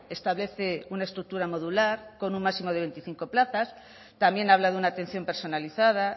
establece una estructura modular con un máximo de veinticinco plazas también habla de una atención personalizada